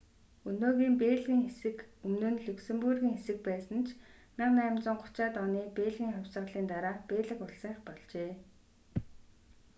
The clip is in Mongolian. өнөөгийн бельгийн хэсэг өмнө нь люксембургийн хэсэг байсан ч 1830-аад оны бельгийн хувьсгалын дараа бельги улсынх болжээ